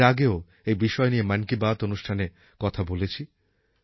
আমি এর আগেও এই বিষয় নিয়ে মন কি বাত অনুষ্ঠানে কথা বলেছি